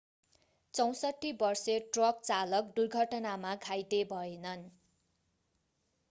64 वर्षे ट्रक चालक दुर्घटनामा घाइते भएनन्